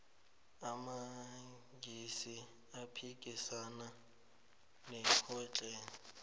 amangisi aphikisana nohitler